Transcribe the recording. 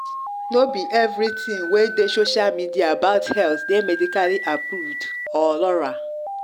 no be everything wey dey social media about health dey medically approved or laura